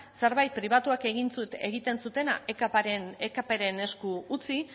zerbait pribatuak egin zutena ekpren esku utzi